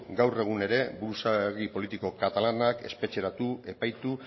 gaur egun ere buruzagi politiko katalanak espetxeratu epaitu